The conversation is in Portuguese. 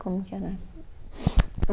Como que era?